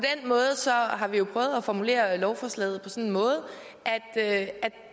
måde har vi jo prøvet at formulere lovforslaget sådan at